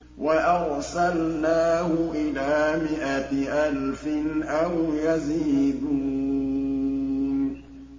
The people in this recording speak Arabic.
وَأَرْسَلْنَاهُ إِلَىٰ مِائَةِ أَلْفٍ أَوْ يَزِيدُونَ